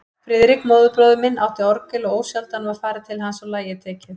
Friðrik, móðurbróðir minn, átti orgel og ósjaldan var farið til hans og lagið tekið.